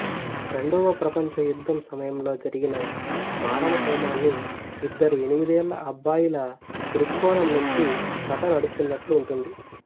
రెండవ ప్రపంచ యుద్ధ సమయంలో జరిగిన మారణహోమాన్ని ఇద్దరు ఎనిమిదేళ్ళ అబ్బాయిల థృక్కోణం నుంచి కథ నడుస్తున్నట్లు ఉంటుంది